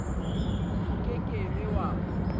o ke ke be wa